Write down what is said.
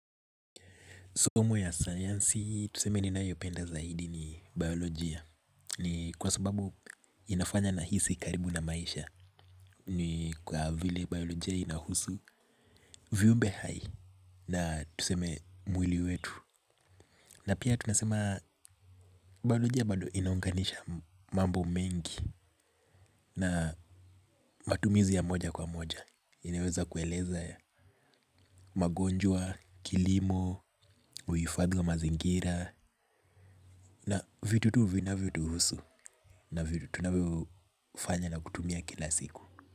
Somo ya sayansi, tuseme niyoipenda zaidi ni biolojia. Ni kwa sababu inafanya nahisi karibu na maisha. Ni kwa vile biolojia inahusu, viumbe hai na tuseme mwili wetu. Na pia tunasema biolojia bado inaunganisha mambo mengi na matumizi ya moja kwa moja. Inaweza kueleza ya magonjwa, kilimo, uhifadhi wa mazingira. Na vitu tu vinavyotuhusu na vitu tunavyofanya na kutumia kila siku.